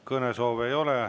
Kõnesoove ei ole.